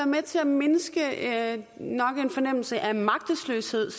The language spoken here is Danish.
med til at mindske nok en fornemmelse af magtesløshed